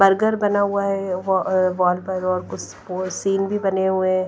Burger बना हुआ है कुछ सीन भी बने हुए हैं।